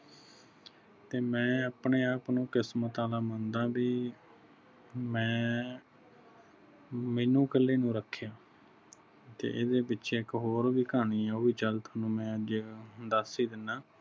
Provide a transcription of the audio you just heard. ਤੇ ਮੈਂ ਆਪਣੇ ਆਪ ਨੂੰ ਕਿਸਮਤ ਵਾਲਾ ਮੰਨਦਾ ਬਈ ਮੈਂ ਮੈਨੂੰ ਇਕੱਲੇ ਨੂੰ ਰੱਖਿਆ ਤੇ ਇਸਦੇ ਪਿੱਛੇ ਵੀ ਇਕ ਹੋਰ ਵੀ ਕਹਾਣੀ ਆ ਉਹ ਵੀ ਜਲਦ ਤੁਹਾਨੂੰ ਮੈਂ ਜਿਹੜਾ ਦਸ ਹੀ ਦੀਨਾ